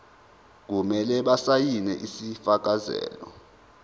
kumele basayine isifakazelo